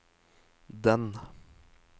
den